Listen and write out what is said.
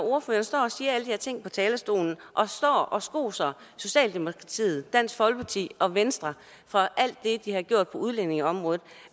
ordføreren står og siger alle de her ting fra talerstolen og står og skoser socialdemokratiet dansk folkeparti og venstre for alt det de har gjort på udlændingeområdet